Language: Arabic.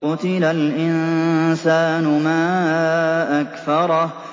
قُتِلَ الْإِنسَانُ مَا أَكْفَرَهُ